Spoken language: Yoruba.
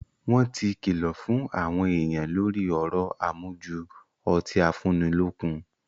Wọ́n ti kìlọ̀ fún àwọn èèyàn lórí ọ̀rọ̀ àmujù ọtí afúnnilọ́kun